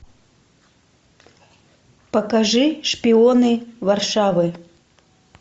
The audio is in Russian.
покажи шпионы варшавы